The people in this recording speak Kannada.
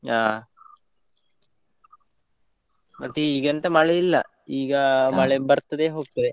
ಹಾ. ಮತ್ತೆ ಈಗ ಎಂತ ಮಳೆ ಇಲ್ಲ, ಈಗ ಮಳೆ ಬರ್ತದೆ ಹೋಗ್ತದೆ.